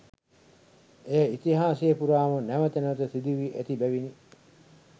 එය ඉතිහාසය පුරාම නැවත නැවත සිදු වී ඇති බැවිනි.